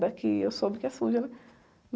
Daqui eu soube que é suja, né?